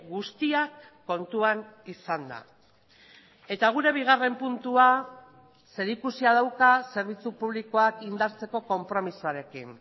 guztiak kontuan izanda eta gure bigarren puntua zerikusia dauka zerbitzu publikoak indartzeko konpromisoarekin